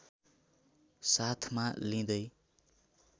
साथमा लिँदै